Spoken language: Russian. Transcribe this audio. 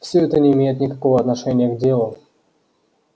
всё это не имеет никакого отношения к делу